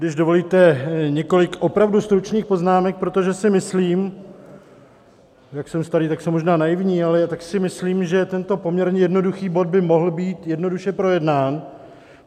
Když dovolíte, několik opravdu stručných poznámek, protože si myslím - jak jsem starý, tak jsem možná naivní - ale tak si myslím, že tento poměrně jednoduchý bod by mohl být jednoduše projednán.